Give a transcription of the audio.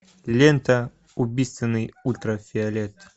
лента убийственный ультрафиолет